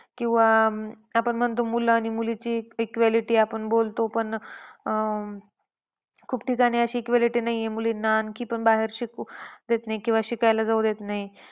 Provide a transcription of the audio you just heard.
किंवा अं आपण म्हणतो मुलं आणि मुलीची equality आपण बोलतो. पण अं खूप ठिकाणी अशी equality नाही आहे मुलींना. आणखी पण बाहेर शिकू देत नाही किंवा शिकायला जाऊ देत नाही.